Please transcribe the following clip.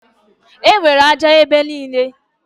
Enwere ájá ebe niile.